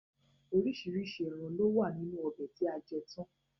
Oríṣiríṣi ẹran lowa nínú ọbẹ̀ tí a jẹ tán.